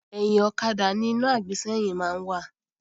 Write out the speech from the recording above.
Ẹ̀yìn ọ̀kadà ni iná àgbésẹ́yìn máa ń wà